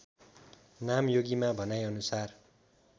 नामयोगीमा भनाइ अनुसार